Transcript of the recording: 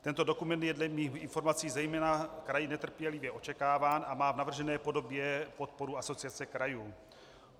Tento dokument je dle mých informací zejména kraji netrpělivě očekáván a má v navržené podobě podporu Asociace krajů.